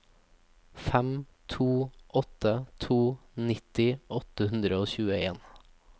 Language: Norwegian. fem to åtte to nitti åtte hundre og tjueen